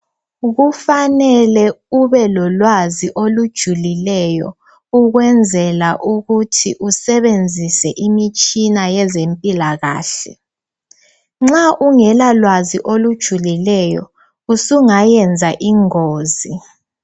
Kufanele ubelolwazi olujulileyo ukwenzela ukuthi usebenzise imitshina yezempilakahle nxa ungela lwazi olujulileyo usungayenza ingozi